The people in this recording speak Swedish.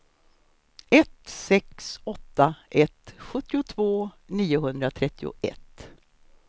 ett sex åtta ett sjuttiotvå niohundratrettioett